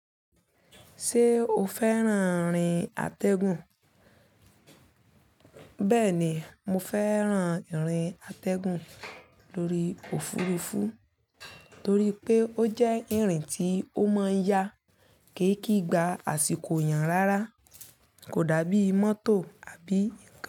Ṣé o fẹ́ràn ìrìn àtẹ̀gùn? Bẹ́ẹ̀ ni, mo fẹ́ràn ìrìn àtẹ̀gùn lórí òfurufú torí pé ó jẹ́ ìrìn tí ó máa ń yá ke kí gba àsìkò yàn rárá kò dàbí mọ́tò àbí ǹkan.